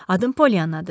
Adım Poliannadır.